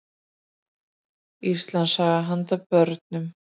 Íslandssaga handa börnum.